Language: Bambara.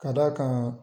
Ka d'a kan